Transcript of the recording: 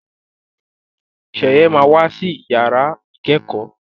Sheye má wá sí yàrá ikẹkọ